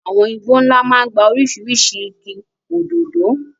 Àwọn igbó ńlá máa ń gba oríṣiríṣi igi, òdòdó.